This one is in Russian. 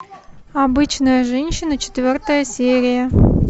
обычная женщина четвертая серия